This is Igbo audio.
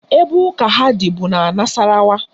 Ebe ụka ha dị bụ n'Nasarawa